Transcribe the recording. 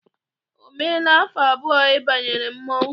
O meela afọ abụọ ị banyere mmọnwụ?